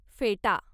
फेटा